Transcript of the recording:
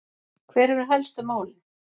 Hver eru helstu málin?